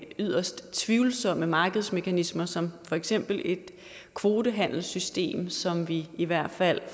yderst tvivlsomme markedsmekanismer som for eksempel et kvotehandelssystem som vi i hvert fald